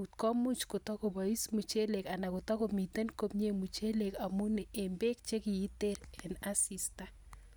tugul akoyamnyaaaa minutik